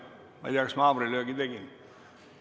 " Ma ei tea, kas ma haamrilöögi tegin.